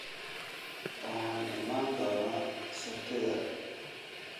waxaan iman doonaa sabtida